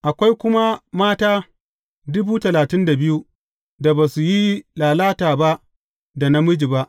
Akwai kuma mata da ba su yi lalata ba da namiji ba.